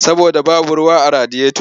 Saboda babu ruwa a radiyoto.